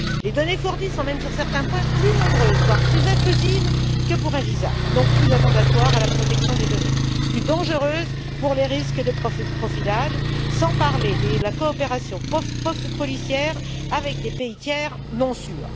Les données fournies sont même sur certains points, plus nombreuses, voire plus intrusives que pour un visa, donc plus attentatoires à la protection des données, plus dangereuses pour les risques de profilage, sans parler de la coopération policière avec des pays tiers non sûrs.